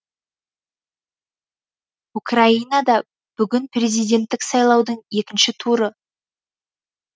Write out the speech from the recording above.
украинада бүгін президенттік сайлаудың екінші туры